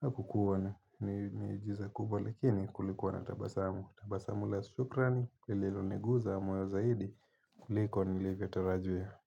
Hakukuwa na miujiza kubwa lakini kulikuwa na tabasamu tabasamu la shukrani lililo niguza moyo zaidi kuliko nilivyo tarajia.